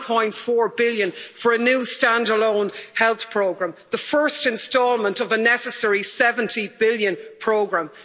9.4 billion for a new stand alone health programme, the first instalment of a necessary EUR 70 billion programme.